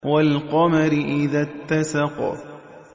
وَالْقَمَرِ إِذَا اتَّسَقَ